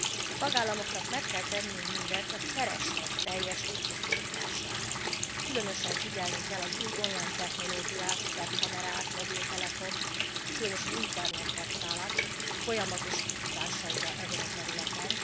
A tagállamoknak meg kell tenniük mindent a kereslet teljes visszaszorítására. Különösen figyelnünk kell az új online technológiák web kamerák, mobiltelefon, különösen az internet használat folyamatos kihívásaira ezen a területen.